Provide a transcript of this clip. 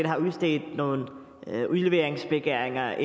har udstedt nogle udleveringsbegæringer